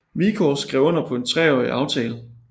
Wieghorst skrev under på en treårig aftale